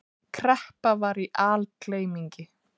Kreppa var í algleymingi.